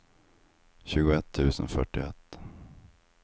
tjugoett tusen fyrtioett